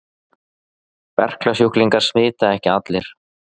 Berklasjúklingar smita ekki allir.